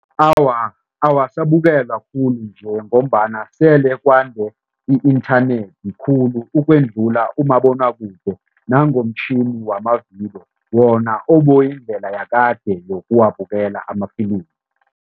Awa, awasabukelwa khulu nje ngombana sele kwande i-inthanethi khulu ukwedlula umabonwakude nangomtjhini wamavidiyo wona oboyindlela yakade yokuwabukela amafilimu.